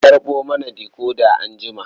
A karɓo mana decoder anjima.